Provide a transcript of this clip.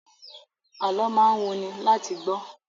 Alọ́ máa ń wuni láti gbọ́